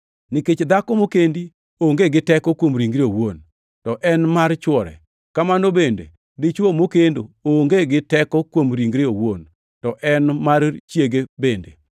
Nikech dhako mokendi onge gi teko kuom ringre owuon, to en mar chwore. Kamano bende, dichwo mokendo onge gi teko kuom ringre owuon, to en mar chiege bende.